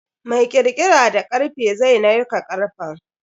Mai kirkira da karfe zai narka karfen.